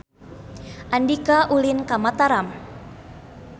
Andika ulin ka Mataram